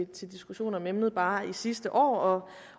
til diskussion om emnet bare sidste år